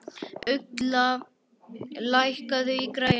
Ugla, lækkaðu í græjunum.